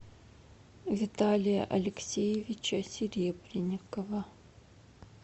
виталия алексеевича серебренникова